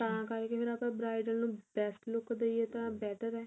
ਤਾਂ ਕਰਕੇ ਫੇਰ ਆਪਣਾਂ bridal ਨੂੰ best look ਦਈਏ ਤਾਂ better ਏ